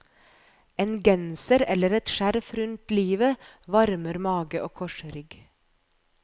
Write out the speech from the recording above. En genser eller et skjerf rundt livet varmer mage og korsrygg.